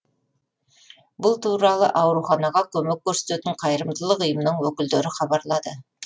бұл туралы ауруханаға көмек көрсететін қайырымдылық ұйымның өкілдері хабарлады